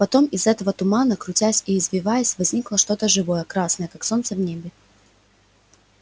потом из этого тумана крутясь и извиваясь возникло что-то живое красное как солнце в небе